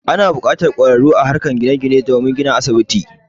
Ana buƙatar ƙwararru a harkar gine gine don yin ginin asibiti.